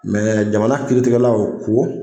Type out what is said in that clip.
Mɛ jamana kiiritigɛlaw ko